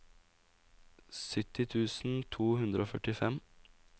sytti tusen to hundre og førtifem